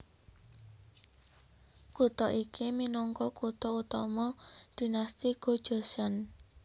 Kutha iki minangka kutha utama Dinasti Go Joseon